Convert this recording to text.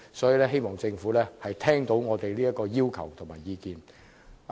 因此，我希望政府能聽取我們的要求和意見。